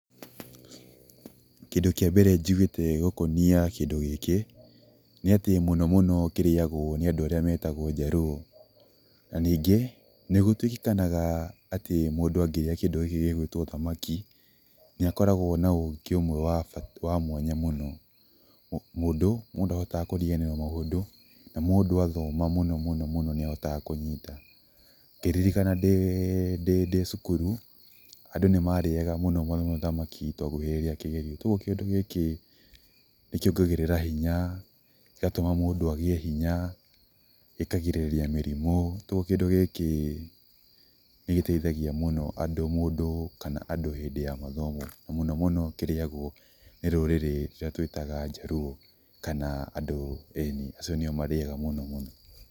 Kĩndũ kĩa mbere njiguite gũkonia kĩndũ gĩkĩ, nĩ atĩ mũno mũno kĩrĩagwo nĩ andũ arĩa metagwo njaruo, na ningĩ nĩ gũtuikanaga atĩ mũndũ angĩrĩa kĩndũ gĩkĩ gĩguĩtwo thamaki nĩ akoragwo na ũgĩ ũmwe wa mwanya mũno, mũndũ ndahotaga kũriganirwo nĩ maũndũ, na mũndũ athoma mũno nĩ ahotaga kũnyita. Ngĩririkana ndĩ cukuru andũ nĩ marĩaga mũno mũno thamaki twakuhĩrĩria kĩgerio koguo kĩndũ gĩkĩ kĩongagĩrĩra hinya gĩgatũma mũndũ agĩe hinya, gĩkagirĩrĩrĩa mĩrĩmu, koguo kĩndũ gĩkĩ nĩ gĩteithagia mũno andũ, mũndũ hĩndĩ ya mathomo mũno mũno kĩrĩagwo mũno ni rũrĩrĩ rũrĩa tũitaga njaruo, kana andu ĩni acio nĩo marĩya mũno mũno.